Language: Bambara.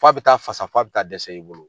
Fɔ a bɛ taa fasa fɔ a bɛ taa dɛsɛ i bolo.